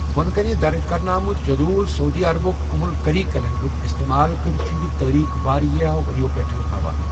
بۄنہٕ کَنہِ درٕج کرنہٕ آمُت جدول سعودی عربُک ام القری کیلنڈرُک استعمال کٔرِتھ چُھ یہِ تٲریخ واریاہو ؤرۍیَو پٮ۪ٹھٕ ہاوان۔